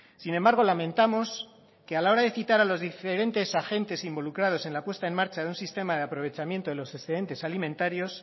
sin embargo lamentamos que a la hora de citar a los diferentes agentes involucrados en la puesta en marcha de un sistema de aprovechamiento de los excedentes alimentarios